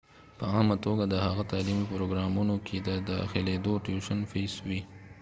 په عامه توګه دغه تعلیمي پروګرامونو کې د داخلېدو ټیوشن فیس وي